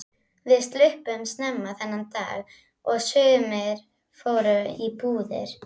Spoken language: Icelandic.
Við sluppum snemma þennan dag og sumir fóru í búðir.